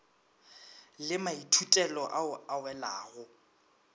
le maithutelo ao a welago